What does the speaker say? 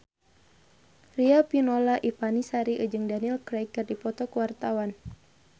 Riafinola Ifani Sari jeung Daniel Craig keur dipoto ku wartawan